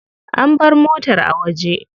An bar motar a waje.